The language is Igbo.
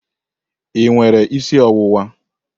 Ị nwere isi ọwụwa?